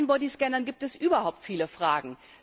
Bei den Bodyscannern gibt es überhaupt viele Fragen.